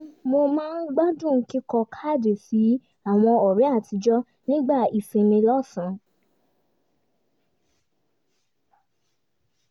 mo máa gbádùn kíkọ káàdì sí àwọn ọ̀rẹ́ àtijọ́ nígbà ìsinmi lọ́sàn